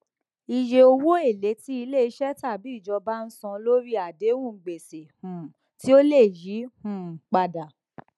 iye owó èlé tí iléiṣẹ tàbí ìjọba ń san lórí àdéhùn gbèsè um tí ó lè yí um padà